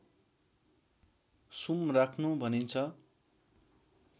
सुम राख्नु भनिन्छ